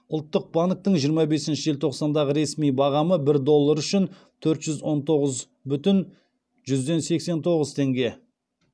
ұлттық банктің жиырма бесінші желтоқсандағы ресми бағамы бір доллар үшін төрт жүз он тоғыз бүтін жүзден сексен тоғыз теңге